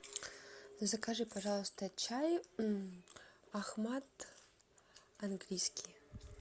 закажи пожалуйста чай ахмат английский